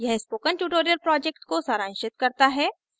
यह spoken tutorial project को सारांशित करता है